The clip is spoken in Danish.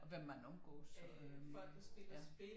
Og hvem man omgås øh ja